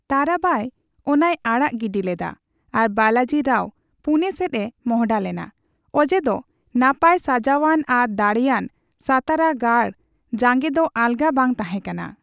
ᱛᱟᱨᱟᱵᱟᱭ ᱚᱱᱟᱭ ᱟᱲᱟᱜ ᱜᱤᱰᱤ ᱞᱮᱫᱟ, ᱟᱨ ᱵᱟᱞᱟᱡᱤ ᱨᱟᱣ ᱯᱩᱱᱮ ᱥᱮᱫ ᱮ ᱢᱚᱦᱰᱟ ᱞᱮᱱᱟ, ᱚᱡᱮ ᱫᱚ ᱱᱟᱯᱟᱭ ᱥᱟᱡᱟᱣᱟᱱ ᱟᱨ ᱫᱟᱲᱮᱭᱟᱱ ᱥᱟᱛᱟᱨᱟ ᱜᱟᱲ ᱡᱟᱜᱮ ᱫᱚ ᱟᱞᱜᱟ ᱵᱟᱝ ᱛᱟᱦᱮ ᱠᱟᱱᱟ ᱾